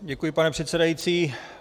Děkuji, pane předsedající.